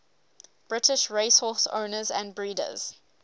british racehorse owners and breeders